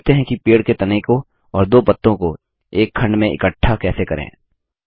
सीखते हैं कि पेड़ के तने को और दो पत्तों को एक खंड में इकठ्ठा कैसे करें